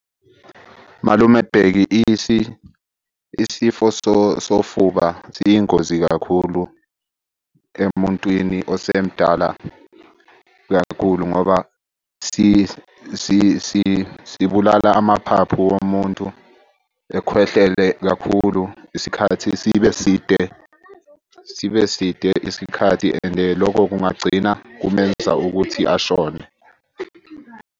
Malume Bheki isifo sofuba siyingozi kakhulu emuntwini osemdala kakhulu ngoba sibulala amaphaphu womuntu. Ekhwehlele kakhulu isikhathi sibe side, sibe side isikhathi and lokho kungagcina kukwenza ukuthi ashone.